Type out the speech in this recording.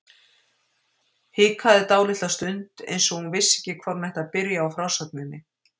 Hikaði dálitla stund eins og hún vissi ekki hvar hún ætti að byrja á frásögninni.